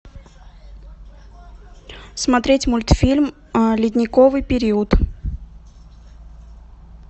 смотреть мультфильм ледниковый период